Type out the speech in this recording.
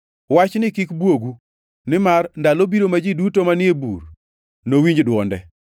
“Wachni kik bwogu, nimar ndalo biro ma ji duto manie bur nowinj dwonde